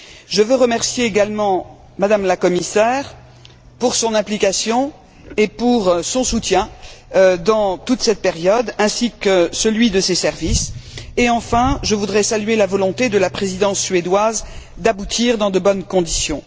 Je veux remercier également M me la commissaire pour son implication et pour son soutien dans toute cette période, ainsi que celui de ses services et enfin, je voudrais saluer la volonté de la Présidence suédoise d'aboutir dans de bonnes conditions.